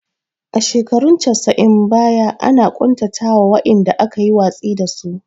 A shekarun casa'in baya ana ƙuntata wa wa'inda aka yi watsi da su